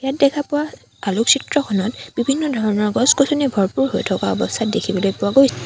ইয়াত দেখা পোৱা আলোকচিত্ৰখনত বিভিন্ন ধৰণৰ গছ-গছনিৰে ভৰপুৰ হৈ থকা অৱস্থাত দেখিবলৈ পোৱা গৈছে।